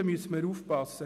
Da müssen wir aufpassen.